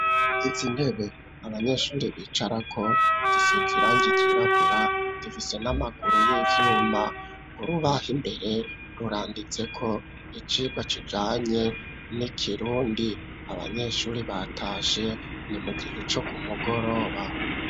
Izi ntebe abanyeshuri bicarako zisize irangi ryirabura, zifise n'amaguru y'ivyuma, urubaho imbere ruranditseko icigwa kijanye n'ikirundi, abanyeshuri batashe, ni mu gihe co ku mugoroba.